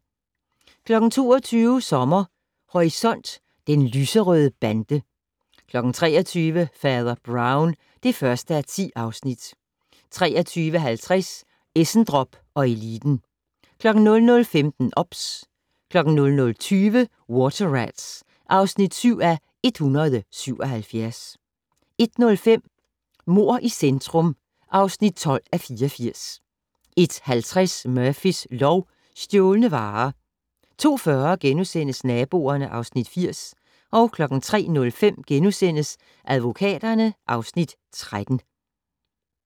22:00: Sommer Horisont: Den lyserøde bande 23:00: Fader Brown (1:10) 23:50: Essendrop & eliten 00:15: OBS 00:20: Water Rats (7:177) 01:05: Mord i centrum (12:84) 01:50: Murphys lov: Stjålne varer 02:40: Naboerne (Afs. 80)* 03:05: Advokaterne (Afs. 13)*